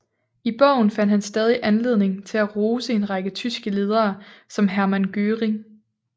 I bogen fandt han stadig anledning til at rose en række tyske ledere som Hermann Göring